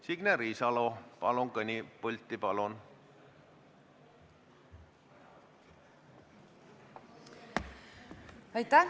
Signe Riisalo, palun kõnepulti!